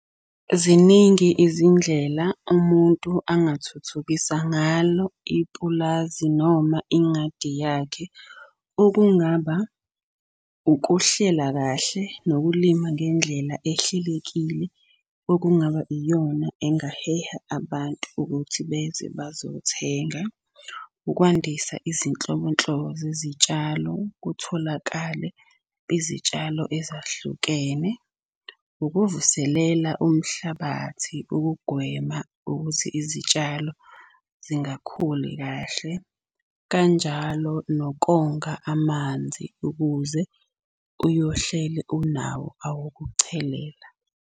Ziningi izindlela umuntu angathuthukisa ngalo ipulazi noma ingadi yakhe. Okungaba ukuhlela kahle, nokulima ngendlela ehlelekile. Okungaba iyona engaheha abantu ukuthi beze bazothenga ukwandisa izinhlobonhlobo zezitshalo kutholakale izitshalo ezahlukene. Ukuvuselela umhlabathi ukugwema ukuthi izitshalo zingakhuli kahle. Kanjalo nokonga amanzi ukuze uyohleli unawo awokuchelela.